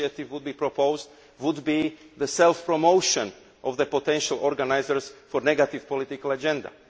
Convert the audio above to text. for proposal would be the self promotion of the potential organisers for negative political agenda.